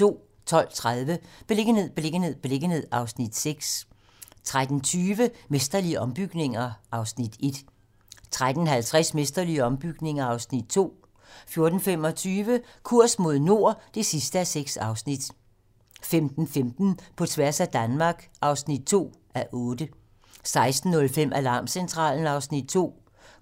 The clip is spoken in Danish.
12:30: Beliggenhed, beliggenhed, beliggenhed (Afs. 6) 13:20: Mesterlige ombygninger (Afs. 1) 13:50: Mesterlige ombygninger (Afs. 2) 14:25: Kurs mod nord (6:6) 15:15: På tværs af Danmark (2:8) 16:05: Alarmcentralen (Afs. 2)